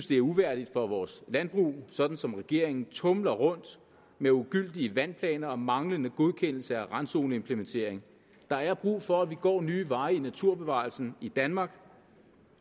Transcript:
det er uværdigt for vores landbrug sådan som regeringen tumler rundt med ugyldige vandplaner og manglende godkendelser af randzoneimplementeringen der er brug for at vi går nye veje i naturbevarelsen i danmark